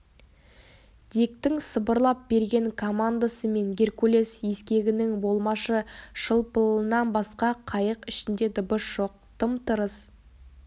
диктің сыбырлап берген командасы мен геркулес ескегінің болмашы шылпылынан басқа қайық ішінде дыбыс жоқ тым-тырыс